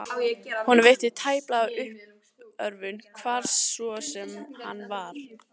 Honum veitti tæplega af uppörvun, hvar svo sem hann var.